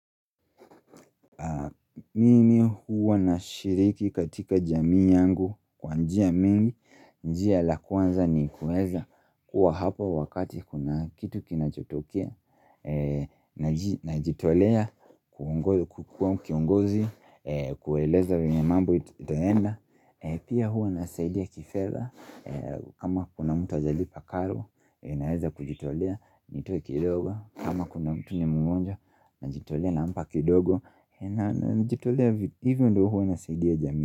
Mimi huwa nashiriki katika jamii yangu kwa njia mingi, njia la kwanza ni kuweza kuwa hapo wakati kuna kitu kinachotokea, najitolea, kukuwa kiongozi, kueleza vile mambo itaenda. Pia huwa nasaidia kifedha kama kuna mtu hajalipa karo Naweza kujitolea nitoe kidogo kama kuna mtu ni mgonjwa najitolea na mpa kidogo najitolea hivyo ndo huwa nasaidia jamii.